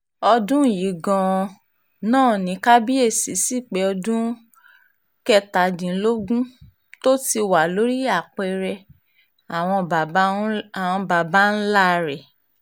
ọdún yìí gan-an náà ni kábíyèsí sí pé ọdún kẹtàdínlógún tó ti wà lórí apẹ̀rẹ̀ àwọn baba ńlá rẹ̀